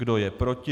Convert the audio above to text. Kdo je proti?